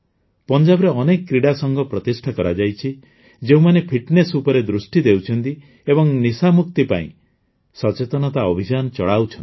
ପଞ୍ଜାବରେ ଅନେକ କ୍ରୀଡ଼ା ସଂଘ ପ୍ରତିଷ୍ଠା କରାଯାଇଛି ଯେଉଁମାନେ ଫିଟ୍ନେସ୍ ଉପରେ ଦୃଷ୍ଟି ଦେଉଛନ୍ତି ଏବଂ ନିଶାମୁକ୍ତି ପାଇଁ ସଚେତନତା ଅଭିଯାନ ଚଳାଉଛନ୍ତି